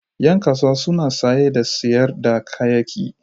Yan kasuwa suna saye da sayar da kayayyaki.